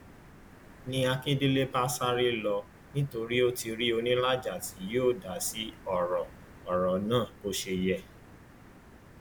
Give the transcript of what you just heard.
ni akíndélé bá sáré lọ nítorí ó ti rí onílàjà tí yóò dá sí ọrọ ọrọ náà bó ṣe yẹ